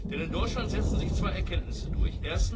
Denn in Deutschland setzen sich zwei Erkenntnisse durch.